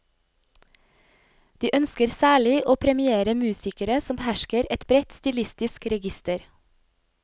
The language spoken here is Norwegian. De ønsker særlig å premiere musikere som behersker et bredt stilistisk register.